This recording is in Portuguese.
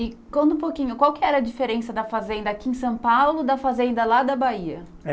E, conta um pouquinho, qual que era a diferença da fazenda aqui em São Paulo da fazenda lá da Bahia?